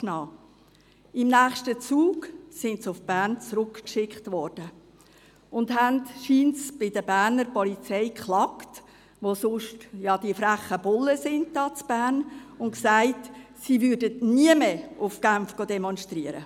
Sie wurden im nächsten Zug nach Bern zurückgeschickt und beklagten sich dann anscheinend bei der Berner Polizei – welche von diesen sonst als «freche Bullen» bezeichnet werden – und sagten, sie gingen nie mehr nach Genf, um zu demonstrieren.